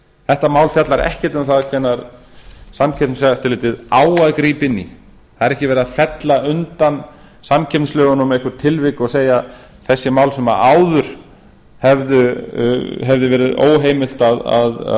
þetta mál fjallar ekkert um það hvenær samkeppniseftirlitið á að grípa inn í það er ekki verið að fella undan samkeppnislögunum einhver tilvik og segja þessi mál sem áður hefðu verið óheimilt